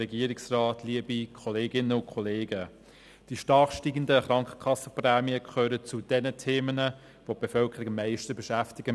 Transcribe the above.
Die stark steigenden Krankenkassenprämien gehören zu denjenigen Themen, welche die Bevölkerung am meisten beschäftigen.